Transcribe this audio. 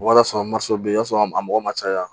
Walasa bɛ yen i b'a sɔrɔ a mɔgɔ man caya